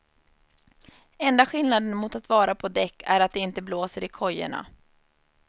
Enda skillnaden mot att vara på däck är att det inte blåser i kojerna.